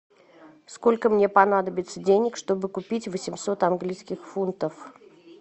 сколько мне понадобится денег чтобы купить восемьсот английских фунтов